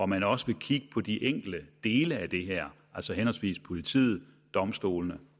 man også vil kigge på de enkelte dele af det her altså henholdsvis politiet domstolene